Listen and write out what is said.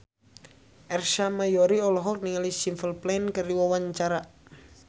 Ersa Mayori olohok ningali Simple Plan keur diwawancara